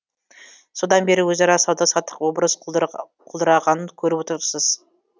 содан бері өзара сауда саттық біраз құлдырағанын көріп отырсыз